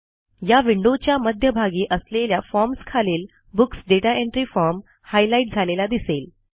या विंडोच्या मध्यभागी असलेल्या फॉर्म्स खालील books data entry form highlight झालेला दिसेल